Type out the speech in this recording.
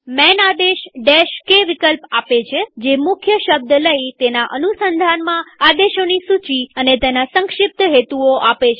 માન આદેશ k વિકલ્પ આપે છેજે મુખ્ય શબ્દ લઇતેના અનુસંધાનમાં આદેશોની સૂચી અને તેના સંક્ષિપ્ત હેતુઓ આપે છે